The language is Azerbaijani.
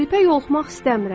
Qripə yoluxmaq istəmirəm.